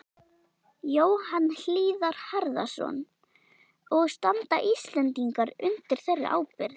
Jóhann Hlíðar Harðarson: Og standa Íslendingar undir þeirri ábyrgð?